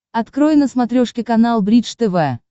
открой на смотрешке канал бридж тв